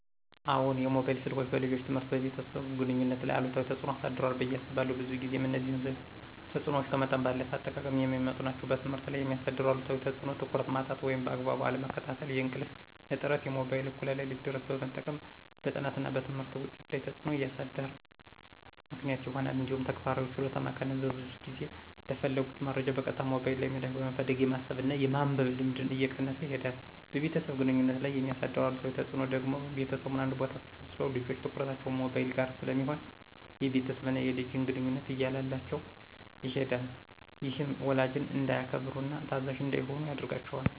አዎን፣ የሞባይል ስልኮች በልጆች ትምህርትና በቤተሰብ ግንኙነት ላይ አሉታዊ ተጽዕኖ አሳድሯል ብየ አስባለሁ። ብዙ ጊዜም እነዚህ ተጽዕኖዎች ከመጠን ባለፈ አጠቃቀም የሚመጡ ናቸው። በትምህርት ላይ የሚያሳድረው አሉታዊ ተፅዕኖ ትኩረት ማጣት ወይም በአግባቡ አለመከታተል፣ የእንቅልፍ እጥረት(ሞባይልን እኩለ ሌሊት ድረስ በመጠቀም) በጥናትና በትምህርት ውጤት ላይ ተፅዕኖ እንዲያሳድር ምክንያት ይሆናል። እንዲሁም ተግባራዊ ችሎታን መቀነስ(ብዙ ጊዜ ለፈለጉት መረጃ በቀጥታ ሞባይል ላይ ምላሽ በመፈለግ የማሰብና የማንበብ ልምድን እየቀነሰ ይሄዳል። በቤተሰብ ግንኙነት ላይ የሚያሳድረው አሉታዊ ተፅዕኖ ደግሞ ቤተሰቡ አንድ ቦታ ተሰብስበው ልጆች ትኩረታቸው ሞባይል ጋር ስለሚሆን የቤተሰብና የልጅን ግንኙነት እያላላው ይሄዳል። ይህም ወላጅን እንዳያከብሩና ታዛዥ እንዳይሆኑ ያደርጋቸዋል።